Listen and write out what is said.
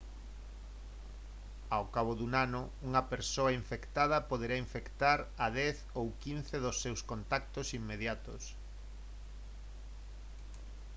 ao cabo dun ano unha persoa infectada poderá infectar a 10 ou 15 dos seus contactos inmediatos